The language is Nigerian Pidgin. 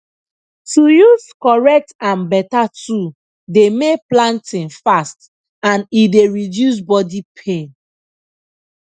to use correct and beta tool dey may planting fast and e d reduce body pain